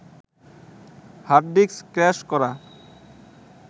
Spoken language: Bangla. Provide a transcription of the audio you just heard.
হার্ডডিস্ক ক্র্যাশ করা